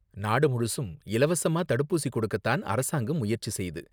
நாடு முழுசும் இலவசமா தடுப்பூசி கொடுக்க தான் அரசாங்கம் முயற்சி செய்யுது.